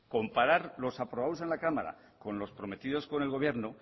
comparar los aprobados en la cámara con los prometidos con el gobierno